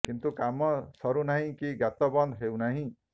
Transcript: କିନ୍ତୁ କାମ ସରୁ ନାହିଁ କି ଗାତ ବନ୍ଦ ହେଉ ନାହିଁ